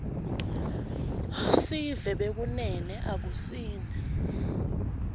sive bekunene akusini